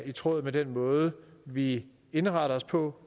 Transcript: i tråd med den måde vi indretter os på